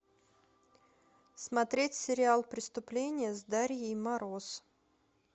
смотреть сериал преступление с дарьей мороз